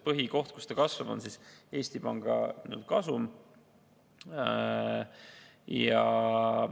Põhikoht, kus ta kasvab, on Eesti Panga kasum.